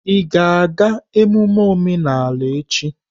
Ị ga-aga emume omenala echi?